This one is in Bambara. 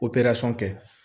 kɛ